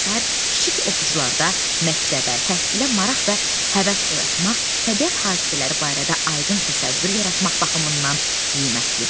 kiçik oxucularda məktəbə, təhsilə maraq və həvəs oyatmaq, təbiət hadisələri barədə aydın təsəvvür yaratmaq baxımından qiymətlidir.